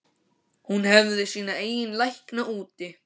Hún hefði sína eigin lækna úti.